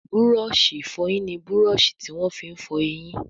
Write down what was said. Búrọ̀ọ̀ṣì ìfọyín ní Búrọ̀ọ̀ṣì tí wón fí fọ ẹyìn.